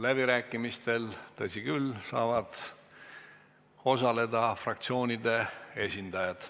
Läbirääkimistel, tõsi küll, saavad osaleda fraktsioonide esindajad.